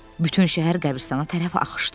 Bütün şəhər qəbiristana tərəf axışdı.